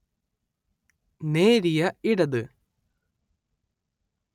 നേരിയ ഇടത്